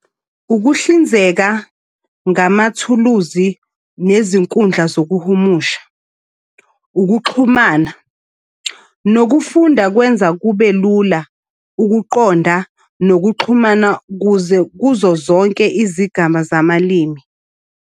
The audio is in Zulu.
Ukuhlinzeka ngamathuluzi nezinkundla zokuhumusha, ukuxhumana, nokufunda, kwenza kube lula ukuqonda nokuxhumana kuze kuzo zonke izigaba zabalimi.